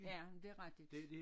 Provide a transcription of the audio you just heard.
Ja men det er rigtigt